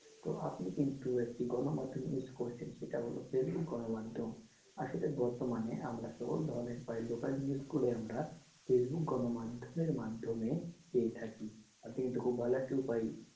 তো আপনি কিন্তু একটি গনমাধ্যম use করছেন সেটা হলো facebook গণমাধ্যম আসলে বর্তমানে আমরা সব ধরনের news আমরা facebook গণমাধ্যম এর মাধ্যমে পেয়ে থাকি আপনি কিন্তু খুব ভালো একটা উপায়,